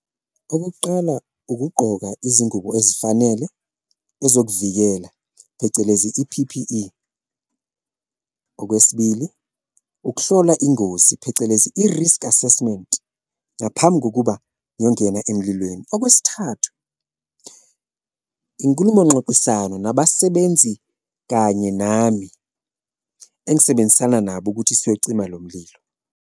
Okokuqala, ukugqoka izingubo ezifanele ezokuvikela phecelezi i-P_P_E, okwesibili, ukuhlola ingozi phecelezi i-risk assessment ngaphambi kokuba ngiyongena emlilweni. Okwesithathu, inkulumo ngxoxisano nabasebenzi kanye nami engisebenzisana nabo ukuthi siyocima lo mlilo.